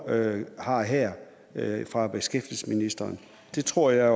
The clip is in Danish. har her fra beskæftigelsesministeren det tror jeg